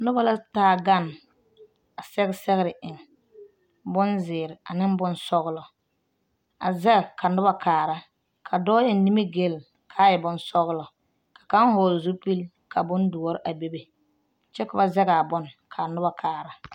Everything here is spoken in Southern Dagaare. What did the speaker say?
Noba la taa gane a sɛge sɛgere eŋ bonzeere ane bonsɔgelɔ a vɛŋ ka noba kaara ka dɔɔ eŋ nimi-gele ka a e bonsɔgelɔ ka kaŋa hɔgele zupili ka bondoɔre a bebe kyɛ ka ba zɛge a bone ka noba kaara .